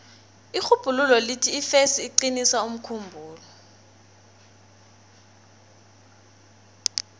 irhubhululo lithi ifesi iqinisa umkhumbulo